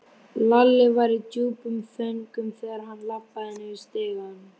Lalli var í djúpum þönkum þegar hann labbaði niður stigann.